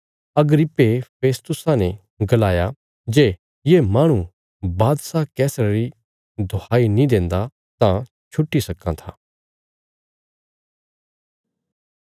अग्रिप्पे फेस्तुसा ने गलाया जे ये माहणु बादशाह कैसरा री दुहाई नीं देन्दा तां छुट्टी सक्कां था